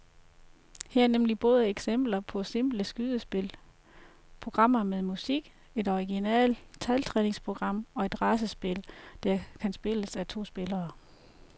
Her er nemlig både eksempler på simple skydespil, programmer med musik, et originalt taltræningsprogram og et racerspil, der kan spilles af to spillere.